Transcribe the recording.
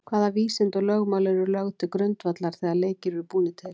Hvaða vísindi og lögmál eru lögð til grundvallar þegar leikir eru búnir til?